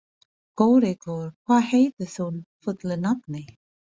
Kórekur, hvað heitir þú fullu nafni?